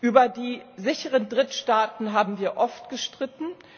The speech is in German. Über die sicheren Drittstaaten haben wir oft gestritten.